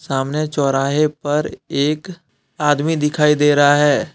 सामने चौराहे पर एक आदमी दिखाई दे रहा है।